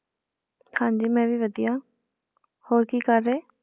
ਹਾਂਜੀ ਮੈਂ ਵੀ ਵਧੀਆ, ਹੋਰ ਕੀ ਕਰ ਰਹੇ?